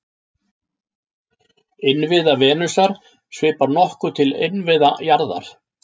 Innviða Venusar svipar nokkuð til innviða jarðar.